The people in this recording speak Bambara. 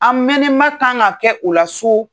An mɛnnɛn ma kan ka kɛ o la so.